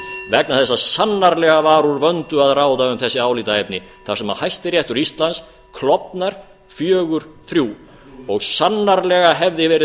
vegna þess að sannarlega var úr vöndu að ráða um þessi álitaefni þar sem hæstiréttur íslands klofnaði fjögur þrjú og sannarlega hefði verið